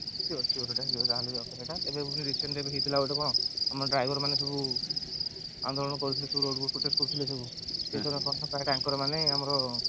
sure sure ସେଇଟା sure ଯାହାହେଲେ ବି ଦରକାର ଏବେ recently ଏବେ ଗୋଟେ ହେଇଥିଲା କଣ ଆମ driver ମାନେ ସବୁ ଆନ୍ଦୋଳନ କରୁଥିଲେ କରୁଥିଲେ ସବୁ ମାନେ ଆମର